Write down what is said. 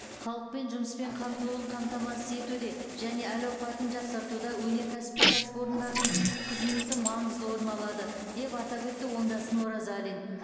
халықпен жұмыспен қамтылуын қамтамасыз етуде және әл ауқатын жақсартуда өнеркәсіптік кәсіпорындардың қызметі маңызды орын алады деп атап өтті оңдасын оразалин